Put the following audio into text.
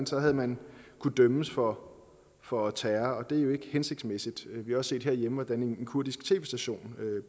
så havde man kunnet dømmes for for terror og det er jo ikke hensigtsmæssigt vi har også set derhjemme hvordan en kurdisk tv station